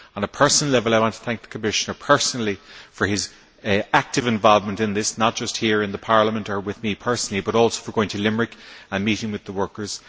On a personal level, I want to thank the Commissioner personally for his active involvement in this, not just here in Parliament or with me personally, but also for going to Limerick and meeting the workers.